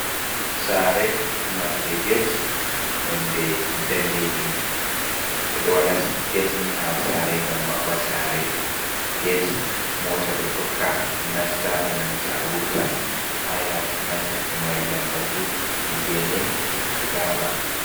Saare marnde get nonde daneejum ɓe ɗo waɗa get nii haa saare ngam maɓɓa saare, get moota ɗo tokka nasta e nanta wurta, yaasi man ɗo mari lambatu e geene fuɗaama.